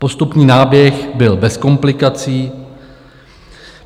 Postupný náběh byl bez komplikací.